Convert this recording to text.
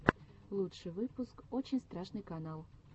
лучший выпуск очень страшный канал